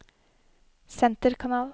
senterkanal